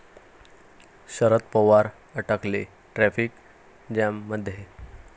शरद पवार अडकले ट्रॅफिक जॅममध्ये